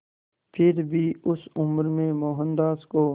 फिर भी उस उम्र में मोहनदास को